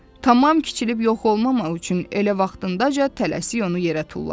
Tamam kiçilib yox olmamaq üçün elə vaxtındaca tələsik onu yerə tulladı.